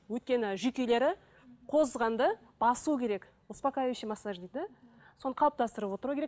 өйткені жүйкелері қозғанды басу керек успокаивающий массаж дейді соны қалыптастырып отыру керек